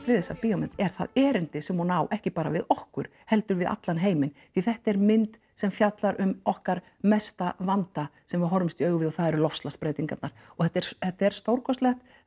við þessa bíómynd er það erindi sem hún á ekki bara við okkur heldur við allan heiminn því þetta er mynd sem fjallar um okkar mesta vanda sem við horfumst við og það eru loftslagsbreytingarnar og þetta er þetta er stórkostlegt